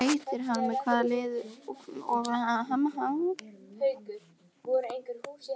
Hvað heitir hann og með hvaða liði spilar hann?